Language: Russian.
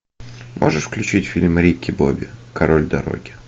можешь включить фильм рики бобби король дороги